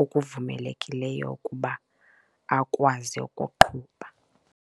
okuvumelekileyo ukuba akwazi ukuqhuba.